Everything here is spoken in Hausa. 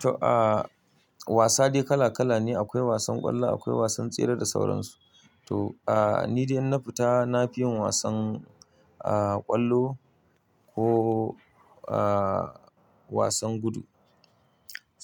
To, aa wasa dai kala kala ne akwai wasan kwallo akwai wasan tsere da sauransu. To, aa ni idan na fita nafiyan wasan aa kwallo ko aa wasan gudu